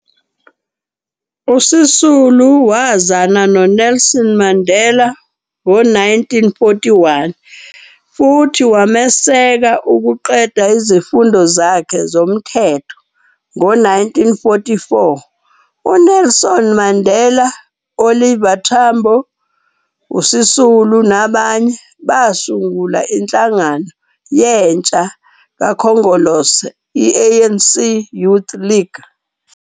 USisulu wazana noNelson Mandela ngo-1941 futhi wameseka ukuqeda izifundo zakhe zomthetho. Ngo-1944 uNelson Mandela, uOliver Tambo, uSisulu nabanye basungula inhlangano yentsha kaKhongolose, "ANC Youth League".